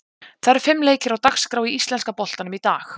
Það eru fimm leikir á dagskrá í íslenska boltanum í dag.